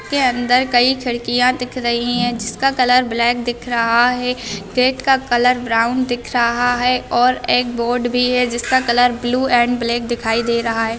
के अंदर कई खिड़कियां दिख रही है जिसका कलर ब्लैक दिख रहा है गेट का कलर ब्राउन दिख रहा है और एक बोर्ड भी है जिसका कलर ब्लू एंड ब्लैक दिखाई दे रहा है।